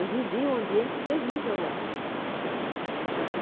Eu vivi um ambiente terrível lá.